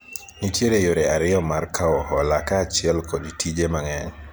nitiere yore ariyo mar kawo hola kaachiel kod tije mang'eny